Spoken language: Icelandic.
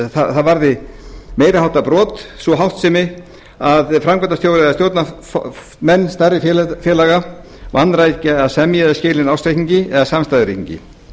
það varði meiri háttar brot sú háttsemi að framkvæmdastjóri eða stjórnarmenn stærri félaga vanrækja að semja eða skila